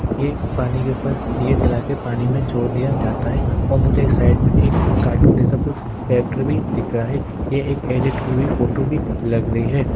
ये एक पानी के ऊपर दिए जलाके पानी में छोड़ दिया जाता है और मुझे साइड में एक कार्टून जैसा भी कुछ फैक्ट्री भी दिख रहा है। ये एक एडिट हुई हुई फोटो भी लग रही है।